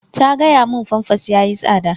Ta gaya mun famfas yayi tsada.